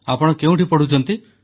ଆପଣ କେଉଁଠି ପଢ଼ୁଛନ୍ତି